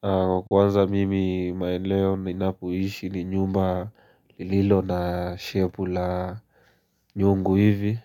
Kwa kwanza mimi maeneo ninapoishi ni nyumba lililo na shepu la nyungu hivi